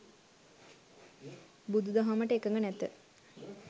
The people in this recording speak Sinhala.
බුදු දහමට එකඟ නැත